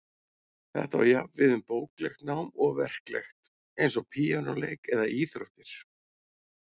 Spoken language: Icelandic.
Þetta á jafnt við um bóklegt nám og verklegt, eins og píanóleik eða íþróttir.